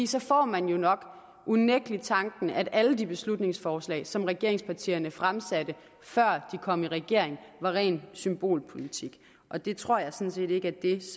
så får man jo nok unægtelig tanken at alle de beslutningsforslag som regeringspartierne fremsatte før de kom i regering var ren symbolpolitik og det tror jeg sådan set ikke er det